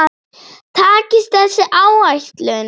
Takist þessi áætlun